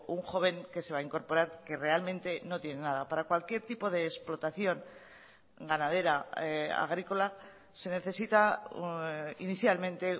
un joven que se va a incorporar que realmente no tiene nada para cualquier tipo de explotación ganadera agrícola se necesita inicialmente